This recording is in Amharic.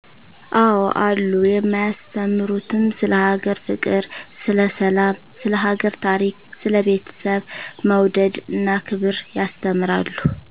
አዎ አሉ የማያስተምሩትም ስለ ሀገር ፍቅር ስለ ሰላም ስለ ሀገር ታሪክ ስለ ቤተሰብ መውደድ እና ክብር ያስተምራሉ